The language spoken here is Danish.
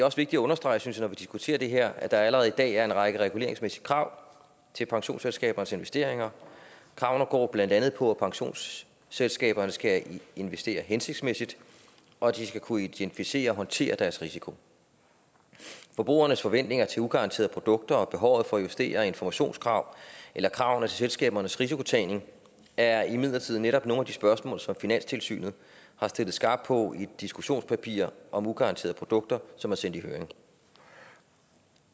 også vigtigt at understrege synes jeg når vi diskuterer det her at der allerede i dag er en række reguleringsmæssige krav til pensionsselskabernes investeringer kravene går blandt andet ud på at pensionsselskaberne skal investere hensigtsmæssigt og at de skal kunne identificere og håndtere deres risiko forbrugernes forventninger til ugaranterede produkter og behovet for justerede informationskrav eller kravene til selskabernes risikotagning er imidlertid netop nogle af de spørgsmål som finanstilsynet har stillet skarpt på i et diskussionspapir om ugaranterede produkter som er sendt i høring